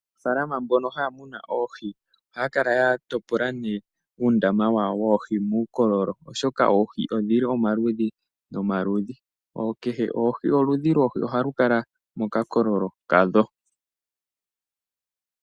Aanafaalama mbono haya munu oohi ohaya kala ya topola uundama wawo woohi muukololo, oshoka oohi odhi li omaludhi nomaludhi. Kehe oludhi lwoohi ohalu kala mokakololo kadho.